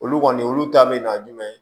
Olu kɔni olu ta bɛ na jumɛn